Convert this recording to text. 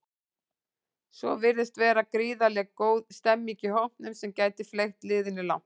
Svo virðist vera gríðarlega góð stemmning í hópnum sem gæti fleygt liðinu langt.